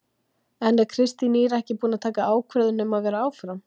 En er Kristín Ýr ekki búin að taka ákvörðun um að vera áfram?